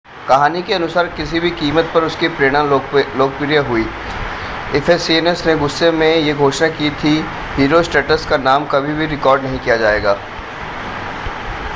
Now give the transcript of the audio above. कहानी के अनुसार किसी भी कीमत पर उसकी प्रेरणा लोकप्रिय हुई इफ़ेसियन्स ने गुस्से में यह घोषणा की थी कि हीरोस्ट्रैटस का नाम कभी-भी रिकॉर्ड नहीं किया जाएगा